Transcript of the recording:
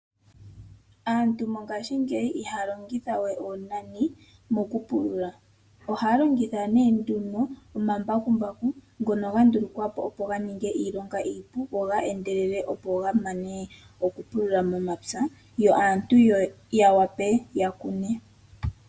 Aantu mongashingeyi ihaya longitha we oonani mokupulula, ohaya longitha nduno omambakumbaku ngono ga ndulukwa po opo ga ninge iilonga iipu go geendelele opo ga mane okupulula omapya yo aantu ya wape ya kune.